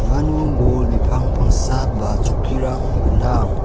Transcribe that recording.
uano bol bipang pangsa ba chokkirang gnang.